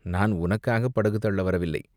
நான் உனக்காகப் படகு தள்ள வரவில்லை.